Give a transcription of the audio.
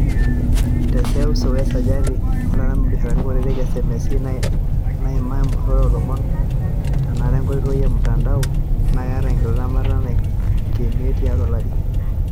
Te seuseu, esajati e artam o biasharani kutiti (SMEs) naima empurore o lomon tenara enkoitoi e mutandao naa keeta enkidimata naikenia tiatu olari.